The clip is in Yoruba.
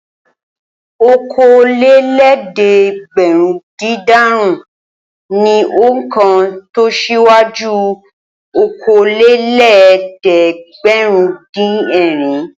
Okòólélẹ́ẹ̀dẹ́gbẹ̀rúndínàrún ni òǹkà tó síwájú okòólélẹ́ẹ̀dẹ́gbẹ̀rúndínẹ̀rin.